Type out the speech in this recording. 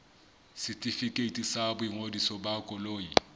setefikeiti sa boingodiso ba koloi